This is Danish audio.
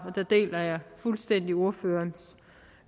der deler jeg fuldstændig ordførerens